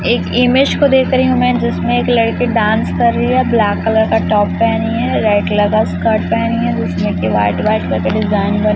एक इमेज को देख रही हूं मैं जिसमें एक लड़की डांस कर रही है ब्लैक कलर का टॉप पेहनी है रेड कलर का स्कर्ट जिसमें की वाइट व्हाइट कर के डिजाइन बना--